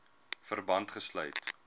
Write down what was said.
verband gesluit